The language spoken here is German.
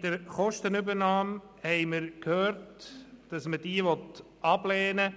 Wir haben vorhin gehört, dass man die Kostenübernahme